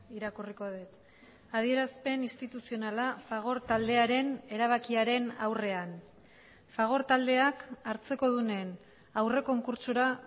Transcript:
irakurriko dut adierazpen instituzionala fagor taldearen erabakiaren aurrean fagor taldeak hartzekodunen aurre konkurtsora